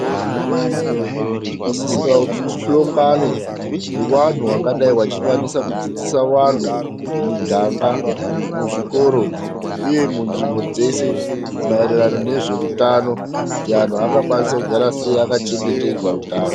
Tinosisira kuti tihlongane nevantu vangadayi vachikwanisa kudzidzisa vantu mumiganga, muzvikoro, uye munzvimbo dzeshe , maererano nezveutano kuti antu angakwanisa kugara sei, akachengetedza utano.